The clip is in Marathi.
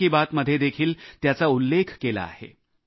मन की बात मध्ये देखील त्याचा उल्लेख केला आहे